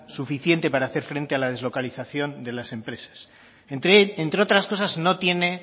suficiente para hacer frente a la deslocalización de las empresas entre otras cosas no tiene